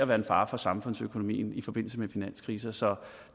være en fare for samfundsøkonomien i forbindelse med finanskriser så